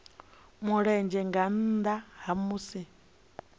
mulenzhe nga nnda ha musi